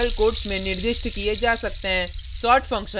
delimiters single या double quotes में निर्दिष्ट किये जा सकते हैं